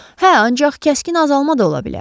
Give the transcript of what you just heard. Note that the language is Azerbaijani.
Hə, ancaq kəskin azalma da ola bilər.